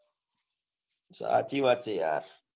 સાચી વાત છે યાર